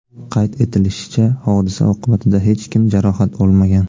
Qayd etilishicha, hodisa oqibatida hech kim jarohat olmagan.